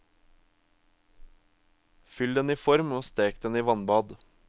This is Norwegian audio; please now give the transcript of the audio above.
Fyll den i form og stek den i vannbad.